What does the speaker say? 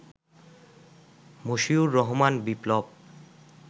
Moshiur Rahman Biplab